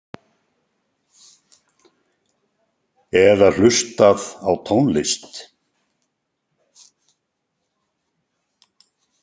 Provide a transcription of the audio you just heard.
Eða hlustað á tónlist?